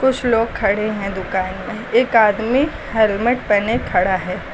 कुछ लोग खड़े हैं दुकान में एक आदमी हेलमेट पेहने खड़ा है।